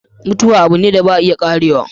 Mutuwa abu ne da ba a iya Karewa.